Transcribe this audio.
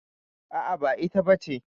A'a, ba ita bace.